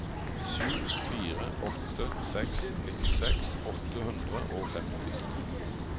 sju fire åtte seks nittiseks åtte hundre og femti